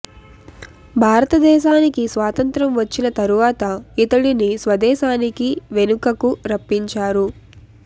భారత దేశానికి స్వాతంత్ర్యం వచ్చిన తరువాత ఇతడిని స్వదేశానికి వెనుకకు రప్పించారు